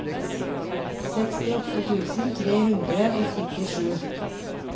sekstiåtte tusen tre hundre og syttisju